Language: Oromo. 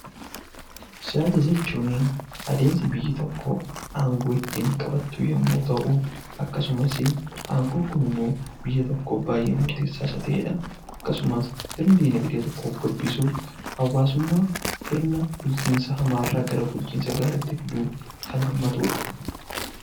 Siyaasa jechuun adeemsa biyyi tokko aangoo ittiin qabattu yommuu ta'u, akkasumas aangoon kun immoo biyya tokkoof baay'ee murteessaa isa ta'e dha. Akkasumas ittiin dinagdee tokko guddisuuf, hawaasummaa sirna bulchiinsa hamaa irraa gara bulchiinsa gaarii tti fiduu kan hammatu dha.